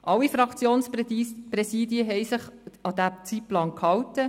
Alle Fraktionspräsidien haben sich an den Zeitplan gehalten.